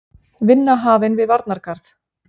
Vinna hafin við varnargarð